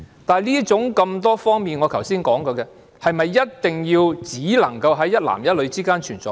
但是，我剛才提及的多方面，是否只能在一男一女之間存在？